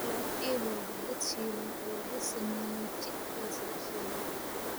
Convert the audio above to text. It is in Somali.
Falafel waa kubad shiilan oo laga sameeyay chickpeas la shiilay.